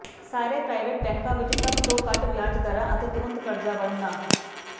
ਸਾਰੇ ਪ੍ਰਾਈਵੇਟ ਬੈਂਕਾਂ ਵਿਚ ਸਭ ਤੋਂ ਘੱਟ ਵਿਆਜ ਦਰਾਂ ਅਤੇ ਤੁਰੰਤ ਕਰਜ਼ਾ ਵੰਡਣਾ